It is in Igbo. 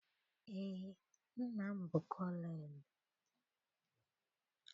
Eé, nna m bụ kọlọnelụ.